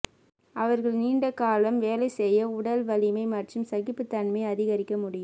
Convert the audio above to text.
அவர்கள் நீண்ட காலம் வேலை செய்ய உடல் வலிமை மற்றும் சகிப்பு தன்மை அதிகரிக்க முடியும்